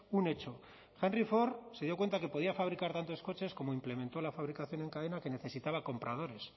un hecho henry ford se dio cuenta de que podía fabricar tantos coches como implementó la fabricación en cadena que necesitaba compradores